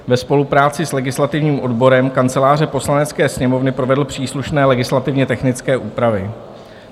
ve spolupráci s legislativním odborem Kanceláře Poslanecké sněmovny provedl příslušné legislativně technické úpravy.